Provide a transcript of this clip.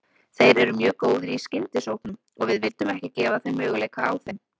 Þeir eru mjög góðir í skyndisóknum og við vildum ekki gefa þeim möguleika á þeim.